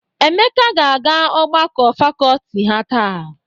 Emeka ga-aga ọgbakọ fakọọti ha taa.